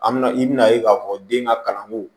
An mi na i bina ye k'a fɔ den ka kalanko